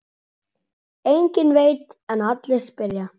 Enginn veit en allir spyrja.